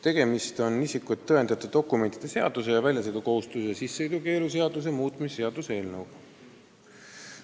Tegemist on isikut tõendavate dokumentide seaduse ning väljasõidukohustuse ja sissesõidukeelu seaduse muutmise seaduse eelnõuga.